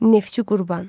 Neftçi Qurban.